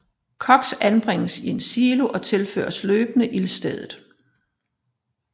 Koks anbringes i en silo og tilføres løbende ildstedet